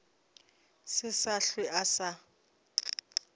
se sa hlwe a sa